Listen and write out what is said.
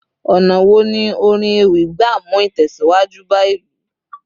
ọnà wo ni orin ewì gba mu itẹsiwaju ba ilu